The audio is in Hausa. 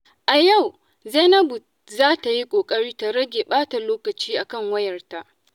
A yau, Zainabu za ta yi ƙoƙari ta rage ɓata lokaci akan wayarta.